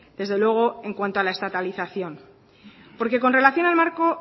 desde luego en cuanto a la estatalización porque con relación al marco